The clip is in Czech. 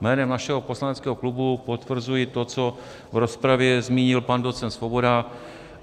Jménem našeho poslaneckého klubu potvrzuji to, co v rozpravě zmínil pan docent Svoboda.